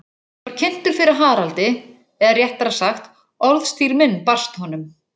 Ég var kynntur fyrir Haraldi, eða réttara sagt, orðstír minn barst honum.